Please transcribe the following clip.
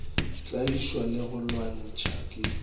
tlaišwa le go lwantšhwa ke